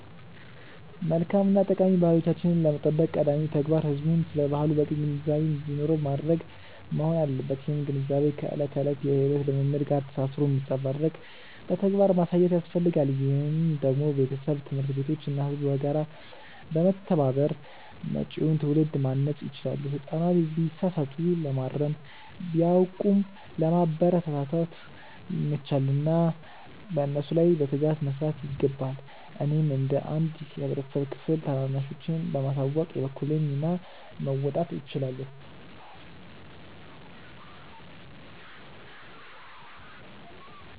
መልካም እና ጠቃሚ ባህሎቻችንን ለመጠበቅ ቀዳሚው ተግባር ህዝቡ ስለ ባህሉ በቂ ግንዛቤ እንዲኖረው ማድረግ መሆን አለበት። ይህም ግንዛቤ ከዕለት ተዕለት የሕይወት ልምምድ ጋር ተሳስሮ እንዲንጸባረቅ በተግባር ማሳየት ያስፈልጋል። ይህንን ደግሞ ቤተሰብ፣ ትምህርት ቤቶች እና ህዝቡ በጋራ በመተባበር መጪውን ትውልድ ማነጽ ይችላሉ። ህጻናት ቢሳሳቱ ለማረም፣ ቢያውቁም ለማበረታታት ይመቻሉና በእነሱ ላይ በትጋት መስራት ይገባል። እኔም እንደ አንድ የህብረተሰብ ክፍል ታናናሾቼን በማሳወቅ የበኩሌን ሚና መወጣት እችላለሁ።